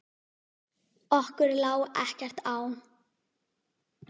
Okkur lá ekkert á.